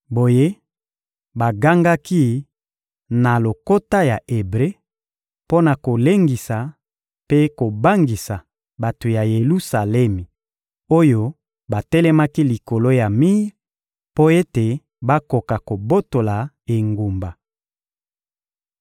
Boye bagangaki na lokota ya Ebre mpo na kolengisa mpe kobangisa bato ya Yelusalemi oyo batelemaki likolo ya mir, mpo ete bakoka kobotola engumba.